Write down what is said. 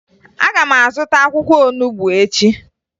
Aga m azụta akwụkwọ onubo echi